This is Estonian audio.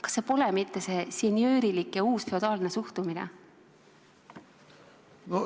Kas see pole mitte see senjöörlik ja uusfeodaalne suhtumine?